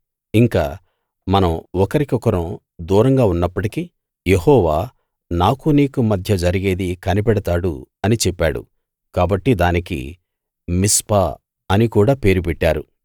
ఇంక మనం ఒకరి కొకరం దూరంగా ఉన్నప్పటికీ యెహోవా నాకూ నీకూ మధ్య జరిగేది కనిపెడతాడు అని చెప్పాడు కాబట్టి దానికి మిస్పా అని కూడా పేరు పెట్టారు